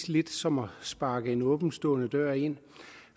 lidt som at sparke en åbenstående dør ind